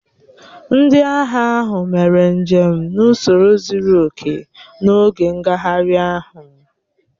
Ndị agha ahụ mere njem n'ụsoro zuru oke n'oge ngagharị ahụ